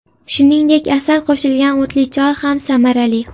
Shuningdek, asal qo‘shilgan o‘tli choy ham samarali.